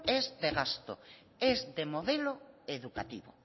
es de gasto es de modelo educativo